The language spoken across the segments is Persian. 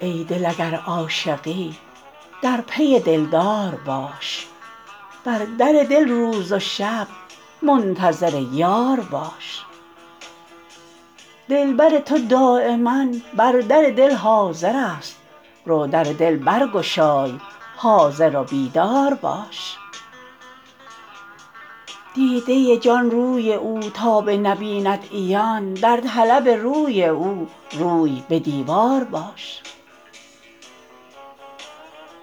ای دل اگر عاشقی در پی دلدار باش بر در دل روز و شب منتظر یار باش دلبر تو دایما بر در دل حاضر است رو در دل برگشای حاضر و بیدار باش دیده جان روی او تا بنبیند عیان در طلب روی او روی به دیوار باش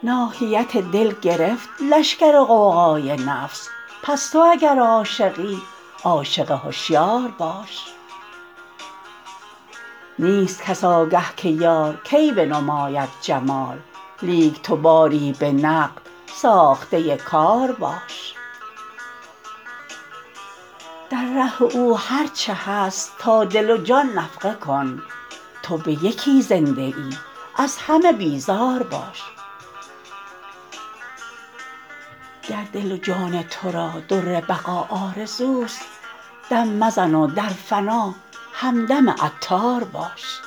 ناحیت دل گرفت لشگر غوغای نفس پس تو اگر عاشقی عاشق هشیار باش نیست کس آگه که یار کی بنماید جمال لیک تو باری به نقد ساخته کار باش در ره او هرچه هست تا دل و جان نفقه کن تو به یکی زنده ای از همه بیزار باش گر دل و جان تو را در بقا آرزوست دم مزن و در فنا همدم عطار باش